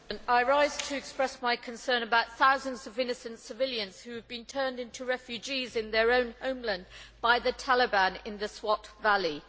Mr President, I rise to express my concern about thousands of innocent civilians who have been turned into refugees in their own homeland by the Taliban in the Swat Valley.